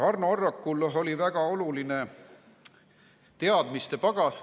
Arno Arrakul on väga oluline teadmiste pagas.